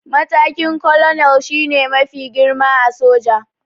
Matakin 'Colonel' shi ne mafi girma a soja